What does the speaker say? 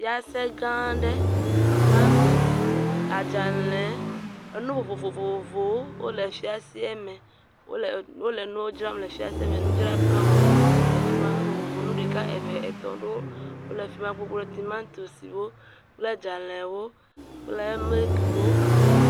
Fiase gã aɖe, tomatosi, adzalẽ, nu vovovowo le fiasea me. Wole nuwo dzram le fiasea me. Nudzraƒewo le afi ma. Nu vovovowo, nu ɖeka, eve, etɔ̃ aɖewo le fi ma gbogbo; tomatosiwo, kple dzalẽwo kple milikiwo.